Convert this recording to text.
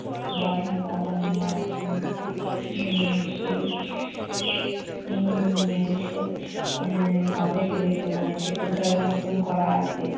ব্রাহ্মণরা আবার নিয়ে আসে। নিয়ে এসে উম নিয়ে এসে উম কাঁধে করে তিন তলার মতন করা আছে।